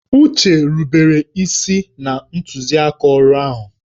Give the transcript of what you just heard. Uche rubere isi na ntuziaka ọrụ ahụ